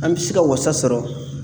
An bɛ se ka wasa sɔrɔ